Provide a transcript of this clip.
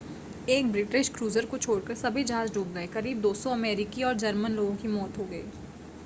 एक British cruiser को छोड़कर सभी जहाज़ डूब गए करीब 200 अमेरिकी और जर्मन लोगों की मौत हो गई